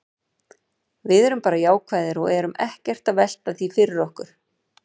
Við erum bara jákvæðir og erum ekkert að velta því fyrir okkur.